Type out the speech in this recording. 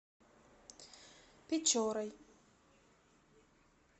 печорой